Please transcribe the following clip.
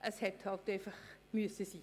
Es musste einfach sein.